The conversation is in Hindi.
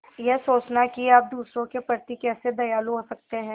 यह सोचना कि आप दूसरों के प्रति कैसे दयालु हो सकते हैं